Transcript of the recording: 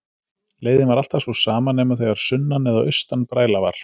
Leiðin var alltaf sú sama nema þegar sunnan- eða austanbræla var.